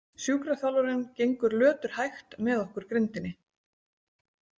Sjúkraþjálfarinn gengur löturhægt með okkur grindinni.